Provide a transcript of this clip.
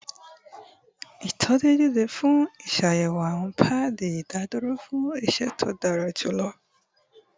Itọju deede pẹlu iṣayẹwo awọn paadi idaduro fun iṣẹ to dara julọ